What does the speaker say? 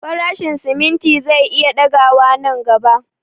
Farashin simimti zai iya ɗaga wa nan gaba